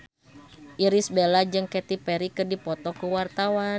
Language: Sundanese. Irish Bella jeung Katy Perry keur dipoto ku wartawan